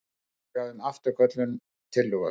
Tillaga um afturköllun tillögu.